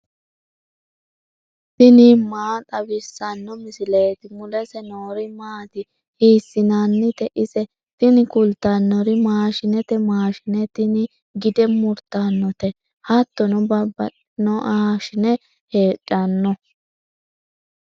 tini maa xawissanno misileeti ? mulese noori maati ? hiissinannite ise ? tini kultannori maashinete. maashine tini gide murtannote. hattono babbaxxitinoaashine heedhanno.